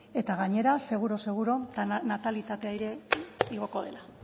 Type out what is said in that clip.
eta gainera seguru seguru natalitatea ere igoko dela